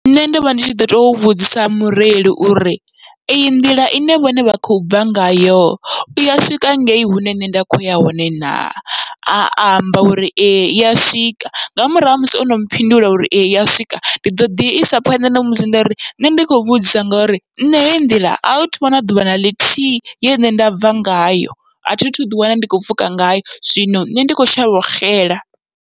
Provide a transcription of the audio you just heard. Nṋe ndovha ndi tshi ḓo to vhudzisa mureili uri eyi nḓila ine vhone vha khou bva ngayo, iya swika ngei hune nṋe nda kho ya hone na, a amba uri ee iya swika nga murahu ha musi ono mphindula ee iya swika ndi ḓoḓi isa phanḓa namusi ndari nṋe ndi kho vhudzisa ngori nṋe hei nḓila ahu thuvha na ḓuvha naḽithihi ye nṋe nda bva ngayo, athi thu ḓi wana ndi kho pfhuka ngayo, zwino nṋe ndi kho shavha u xela.